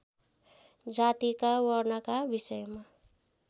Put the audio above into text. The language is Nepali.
जातिका वर्णका विषयमा